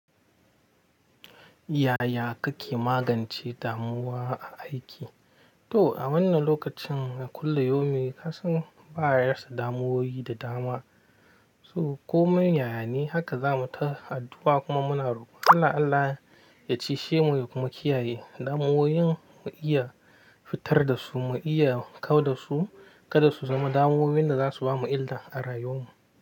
Yaya kake magance damuwa a aiki? Toh, a wannan lokacin, a kullum yaumin, ka san ba wa ɗan yarsa damuwoyi da dama. Ko man yayane, haka za mu ta addu'a, kuma muna rokon Allah-Allah ya cishe mu, kuma kiyaye damuwoyin mu iya fitar da su, mu iya kawar da su, kada su zama damuwoyin da za su bamu illa a rayuwar mu.